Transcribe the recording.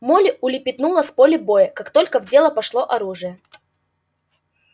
молли улепетнула с поля боя как только в дело пошло оружие